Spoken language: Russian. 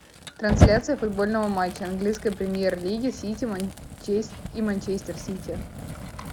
трансляция футбольного матча английской премьер лиги сити и манчестер сити